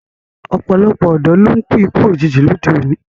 Ọ̀pọ̀lọpọ̀ ọ̀dọ́ ló ń kú ikú òjijì lóde òní